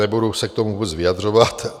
Nebudu se k tomu vůbec vyjadřovat.